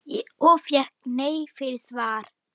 Og fékk nei fyrir svar?